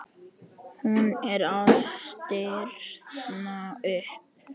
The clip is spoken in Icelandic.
Hún er að stirðna upp.